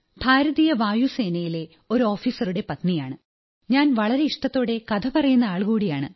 ഭാരതീയ വ്യോമസേനയിലെ ഒരു ഓഫീസറുടെ പത്നിയാണ് ഞാൻ വളരെ ഇഷ്ടത്തോടെ കഥപറയുന്ന ആൾകൂടിയാണ്